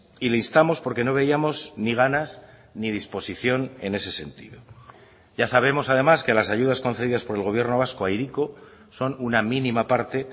y le instamos porque no veíamos ni ganas ni disposición en ese sentido ya sabemos además que las ayudas concedidas por el gobierno vasco a hiriko son una mínima parte